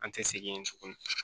An tɛ segin yen tuguni